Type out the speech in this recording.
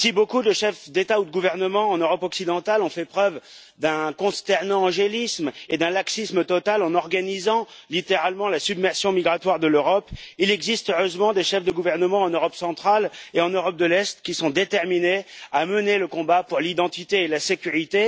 Si beaucoup de chefs d'État ou de gouvernement en Europe occidentale ont fait preuve d'un consternant angélisme et d'un laxisme total en organisant littéralement la submersion migratoire de l'Europe, il existe heureusement des chefs de gouvernement en Europe centrale et en Europe de l'Est qui sont déterminés à mener le combat pour l'identité et la sécurité.